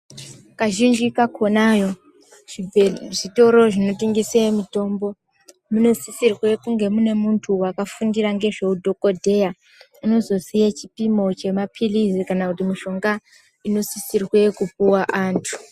Kaxhinji kakonayo zvibhee zvitoro zvinotengese mutombo munosisirwe kunge mune muntu wakafundira ngezveudhokodheya unozoziye chipimo chemapilizi kana kuti mushonga unosisirwe kupuwe antu.